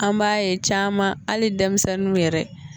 An b'a ye caman hali denmisɛnninw yɛrɛ